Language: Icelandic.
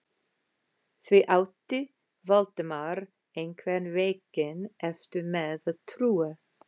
Því átti Valdimar einhvern veginn erfitt með að trúa.